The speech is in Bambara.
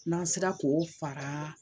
N'an sera k'o fara